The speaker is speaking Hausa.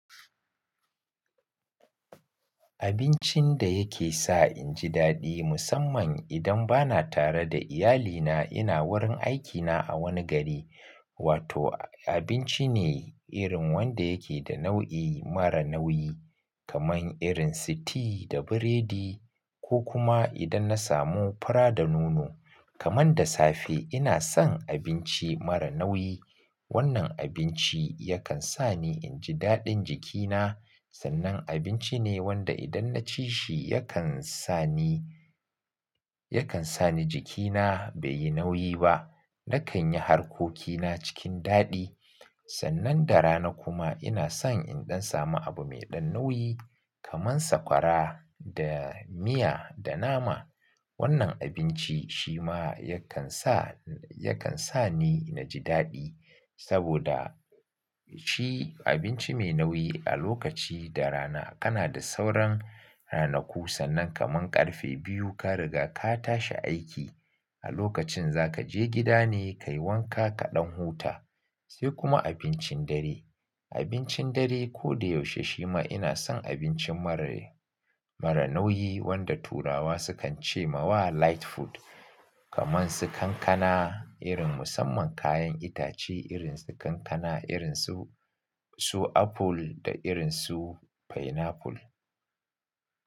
Abincin da yake sa in ji daɗi musamman idan ba na tare da iyalina, ina wurin aikina a wani gari. Wato abinci ne irin wanda yake da nau'i mara nauyi kamar irin si tea da buredi ko kuma idan na samu fura da nono. Kaman da safe ina son abinci mara nauyi. Wannan abinci yakan sa ni in ji daɗin jikina. Sannan abinci ne wanda idan na ci shi yakan sa ni, yakan sa ni jikina bai yi nauyi ba. Nakan yi harkokina cikin daɗi. Sannan da rana kuma ina son indan samu abu mai ɗan nauyi kamar sakwara da miya da nama. Wannan abinci shi ma yakan sa, yakan sa ni na ji daɗi saboda ci abinci mai nauyi a lokaci da rana kana da sauran ranaku sannan kaman ƙarfe biyu ka riga ka tashi aiki. A lokacin za ka je gida ne ka yi wanka ka ɗan huta. Sai kuma abincin dare. Abincin dare ko da yaushe shi ma ina son abinci mara, mara nauyi wanda turawa sukan ce mawa light food kamar su kankana irin musamman kayan itace irin su kankana, irin su, su aful da irin su fainaful.